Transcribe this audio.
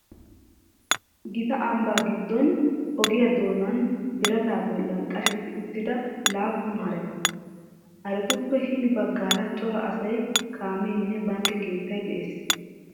Gita ambbaa giddon ogiyaa doonan birataa bollan qashetti uttida laappun hareta. Haretuppe hini baggaara cora asayi, kameenne bankke keettay de'ees.